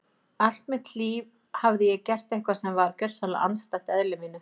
Allt mitt líf hafði ég gert eitthvað sem var gjörsamlega andstætt eðli mínu.